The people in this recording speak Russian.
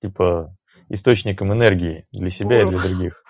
типа источником энергии для себя и для других